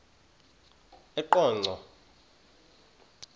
eqonco